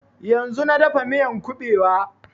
Yanzun na dafa miyan ƙubewa